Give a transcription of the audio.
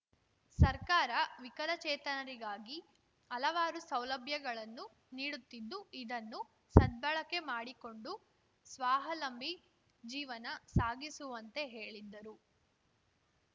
ಸರ್ಕಾರ ವಿಕಲಚೇತನರಿಗಾಗಿ ಹಲವಾರು ಸೌಲಭ್ಯಗಳನ್ನು ನೀಡುತ್ತಿದ್ದು ಇದನ್ನು ಸದ್ಬಳಕೆ ಮಾಡಿಕೊಂಡು ಸ್ವಾಹಲಂಬಿ ಜೀವನ ಸಾಗಿಸುವಂತೆ ಹೇಳಿದರು